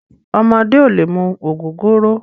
Ọmọdé ò lè mu ògógóró.